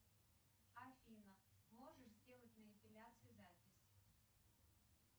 афина можешь сделать на эпиляцию запись